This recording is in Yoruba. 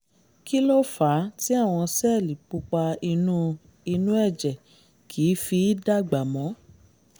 kí ló fà á tí àwọn sẹ́ẹ̀lì pupa inú inú ẹ̀jẹ̀ kì í fi í dàgbà mọ́?